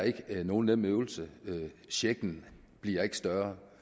ikke er nogen nem øvelse checken bliver ikke større